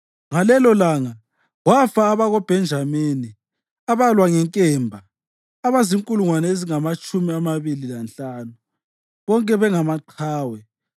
Ngalelolanga kwafa abakoBhenjamini abalwa ngenkemba abazinkulungwane ezingamatshumi amabili lanhlanu, bonke bengamaqhawe.